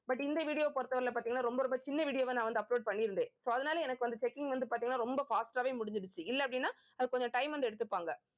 but இந்த video வை பொறுத்தவரையில பாத்தீங்கன்னா ரொம்ப ரொம்ப சின்ன video வா நான் வந்து upload பண்ணியிருந்தேன் so அதனால எனக்கு வந்து, checking வந்து பாத்தீங்கன்னா ரொம்ப fast ஆவே முடிஞ்சிருச்சு இல்ல அப்படின்னா அது கொஞ்சம் time வந்து எடுத்துப்பாங்க